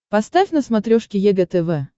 поставь на смотрешке егэ тв